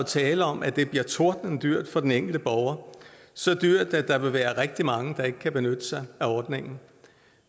tale om at det bliver tordnende dyrt for den enkelte borger så dyrt at der vil være rigtig mange der ikke kan benytte sig af ordningen